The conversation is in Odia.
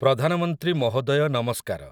ପ୍ରଧାନମନ୍ତ୍ରୀ ମହୋଦୟ ନମସ୍କାର ।